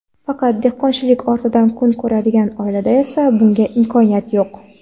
Faqat dehqonchilik ortidan kun ko‘radigan oilada esa bunga imkoniyat yo‘q.